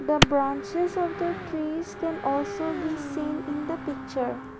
the branches of the trees can also be seen in the picture.